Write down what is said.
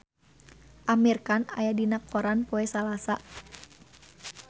Amir Khan aya dina koran poe Salasa